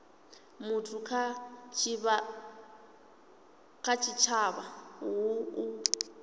muthu kha tshitshavha hu u